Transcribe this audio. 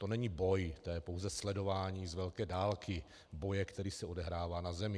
To není boj, to je pouze sledování z velké dálky boje, který se odehrává na zemi.